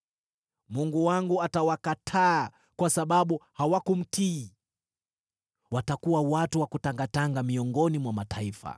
Mungu wangu atawakataa kwa sababu hawakumtii; watakuwa watu wa kutangatanga miongoni mwa mataifa.